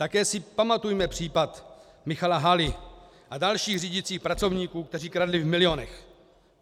Také si pamatujeme případ Michala Haly a dalších řídících pracovníků, kteří kradli v milionech.